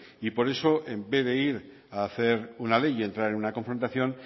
y por eso en vez de ir a hacer una ley y entrar en una confrontación